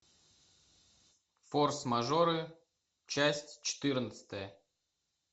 форс мажоры часть четырнадцатая